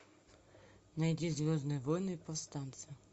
найди звездные войны повстанцы